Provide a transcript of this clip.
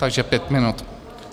Takže pět minut.